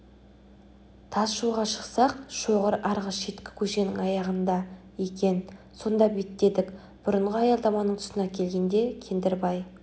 тас жолға шықсақ шоғыр арғы шеткі көшенің аяғында екен сонда беттедік бұрынғы аялдаманың тұсына келгенде кендірбай